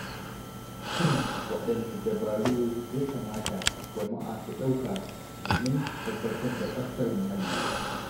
Shin waɗanne dabaru ya kamata jama'a su ɗauka domin tabbatar da tsaftar muhalli?